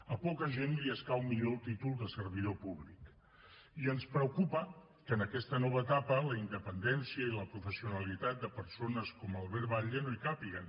a poca gent escau millor el títol de servidor públic i ens preocupa que en aquesta nova etapa la independència i la professionalitat de persones com albert batlle no hi càpiguen